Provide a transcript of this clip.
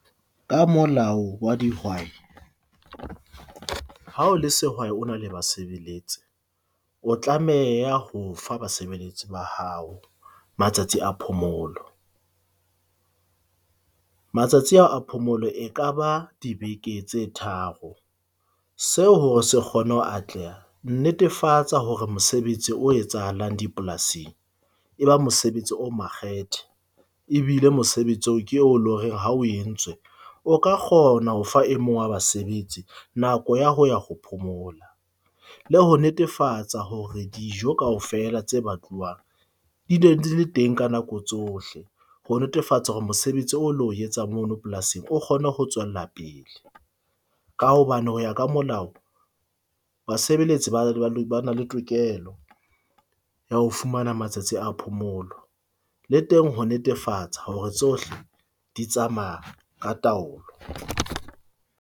Ka molao wa dihwai ha o le sehwai o na le basebeletsi, o tlameha ho fa basebeletsi ba hao matsatsi a phomolo. Matsatsi ao a phomolo e ka ba dibeke tse tharo seo hore se kgone ho atleha netefatsa hore mosebetsi o etsahalang dipolasing, e ba mosebetsi o makgethe e bile mosebetsi oo ke oo eleng hore ha o entswe o ka kgona ho fa e mong wa basebetsi nako ya ho ya ho phomola. Le ho netefatsa hore dijo kaofela tse batluwang di ne di le teng ka nako tsohle. Ho netefatsa hore mosebetsi o lo etsang mono polasing o kgone go tswella pele, ka hobane ho ya ka molao, basebeletsi ba na le tokelo ya ho fumana matsatsi a phomolo le teng ho netefatsa hore tsohle di tsamaya ka taolo.